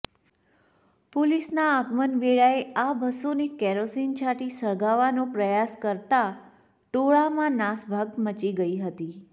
પોલીસના આગમન વેળાએ આ બસોને કેરોસીન છાંટી સળગાવવાનો પ્રયાસ કરતા ટોળામાં નાસભાગ મચી ગઈ હતી